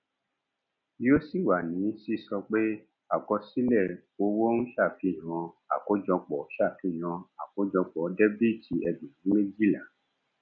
yóò sì wà ní sísọ pé àkọsílẹ owó ń ṣàfihàn àkójọpọ ṣàfihàn àkójọpọ dẹbìtì ẹgbẹrún méjìlá